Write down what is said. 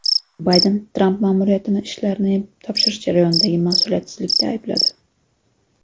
Bayden Tramp ma’muriyatini ishlarni topshirish jarayonidagi mas’uliyatsizlikda aybladi.